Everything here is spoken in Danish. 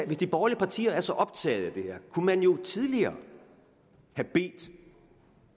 de borgerlige partier er så optaget af det her kunne man jo tidligere have bedt